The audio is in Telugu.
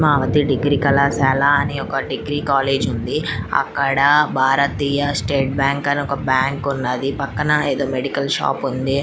పద్మావతి డిగ్రీ కళాశాల .అనే ఒక డిగ్రీ కాలేజ్ ఉంది అక్కడ భారతీయ స్టేట్ బ్యాంక్ అనే ఒక బ్యాంకు ఉన్నది పక్కన ఏదో మెడికల్ షాప్ ఉంది.